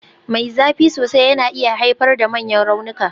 Mai zafi sosai yana iya haifar da manyan raunuka.